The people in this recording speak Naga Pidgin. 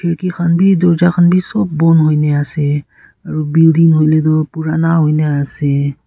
khurki khan bi dorja khan bi sob bon huina ase aro building huile Tu purana huina ase.